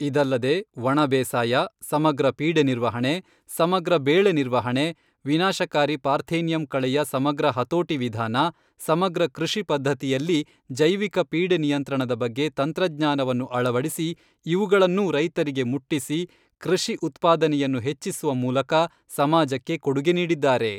ಇದಲ್ಲದೆ ಒಣ ಬೇಸಾಯ, ಸಮಗ್ರ ಪೀಡೆ ನಿರ್ವಹಣೆ, ಸಮಗ್ರ ಬೇಳೆ ನಿರ್ವಹಣೆ, ವಿನಾಶಕಾರಿ ಪಾರ್ಥೇನಿಯಂ ಕಳೆಯ ಸಮಗ್ರ ಹತೋಟಿ ವಿಧಾನ, ಸಮಗ್ರ ಕೃಷಿ ಪದ್ಧತಿಯಲ್ಲಿ, ಜೈವಿಕ ಪೀಡೆ ನಿಯಂತ್ರಣದ ಬಗ್ಗೆ ತಂತ್ರಜ್ಞಾನವನ್ನು ಅಳವಡಿಸಿ ಇವುಗಳನ್ನೂ ರೈತರಿಗೆ ಮುಟ್ಟಿಸಿ ಕೃಷಿ ಉತ್ಪಾದನೆಯನ್ನು ಹೆಚ್ಚಿಸುವ ಮೂಲಕ ಸಮಾಜಕ್ಕೆ ಕೊಡುಗೆ ನೀಡಿದ್ದಾರೆ.